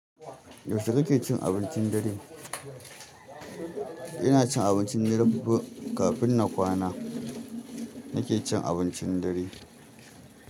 Yaushe kake cin abincin dare? Ina cin abincin ni darabu kafin na kwana, nake cin abincin dare.